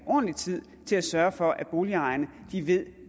ordentlig tid til at sørge for at boligejerne ved